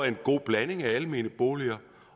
en god blanding af almene boliger